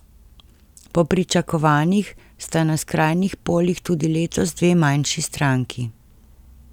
Po pričakovanjih sta na skrajnih polih tudi letos dve manjši stranki.